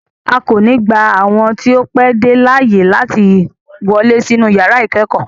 A ko ni gba awọn ti o pẹ de laaye lati wọle sinu yara ikẹkọ